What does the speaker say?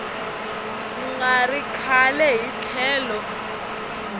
nga ri kahle hi tlhelo